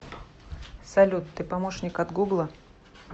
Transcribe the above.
салют ты помощник от гугла